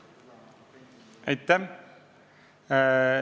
Aitäh!